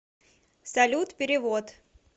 салют перевод